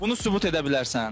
Bunu sübut edə bilərsən?